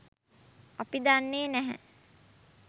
අපි දන්නේ නැහැ